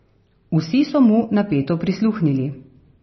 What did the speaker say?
Vsi so mu napeto prisluhnili.